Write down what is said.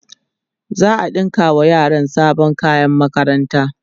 za'a ɗinka wa yaran sabon kayan makaranta